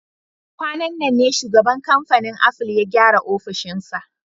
Kwanan nan ne shugaban kamfanin Aful ya gyara ofishinsa